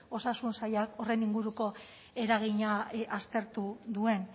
osasun sailak horren inguruko eragina aztertu duen